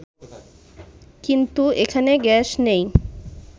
কিন্তু এখানে গ্যাস নেই